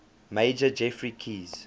major geoffrey keyes